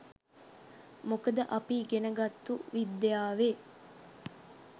මොකද අපි ඉගෙන ගත්තු විද්‍යාවේ